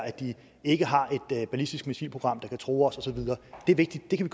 at de ikke har et ballistisk missilprogram der kan true os og så videre det er vigtigt det kan